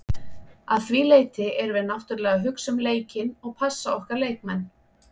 Að því leyti erum við náttúrulega að hugsa um leikinn og passa okkar leikmenn.